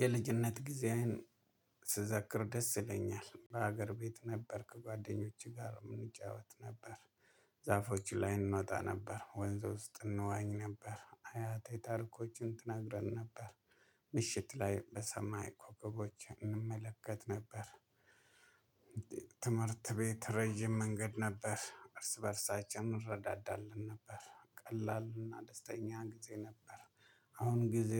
የልጅነት ጊዜየን ስዘክር ደስ ይለኛል በሀገር ቤት ነበርክ ጓደኞቼ ጋር እንጫወት ነበር። ዛፎች ላይ እንወጣ ነበር ወንዝ ውስጥ እንዋኝ ነበር አያቴ ታርኮችን ትነግረን ነበር። ምሽት ላይ በሰማይ ኮከቦች እንመለከት ነበር። ትምህርት ቤት ረጅም መንገድ ነበር እርስ በእርሳቸውም እንረዳዳለን ነበር ቀላልና ደስተኛ ጊዜ ነበር። አሁን ጊዜ